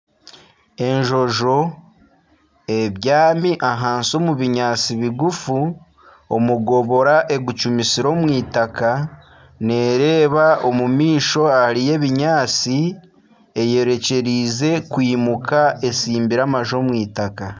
Enjojo ebyami ahansi omu binyaatsi bigufu omugobora ogucumitsire omw'eitaaka nereeba omu maisho hariyo ebinyaatsi ayorekyerize kwimuka atsimbire amaju omw'eitaaka.